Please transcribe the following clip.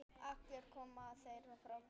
Allir koma þeir frá Gerplu.